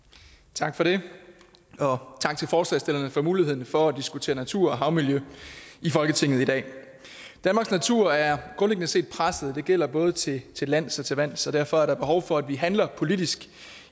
tak for det og tak til forslagsstillerne for muligheden for at diskutere natur og havmiljø i folketinget i dag danmarks natur er grundlæggende set presset det gælder både til til lands og til vands så derfor er der behov for at vi handler politisk